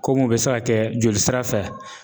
Kom'u bɛ se ka kɛ jolisira fɛ.